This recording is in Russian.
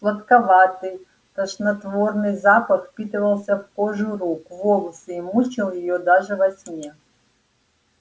сладковатый тошнотворный запах впитывался в кожу рук в волосы и мучил её даже во сне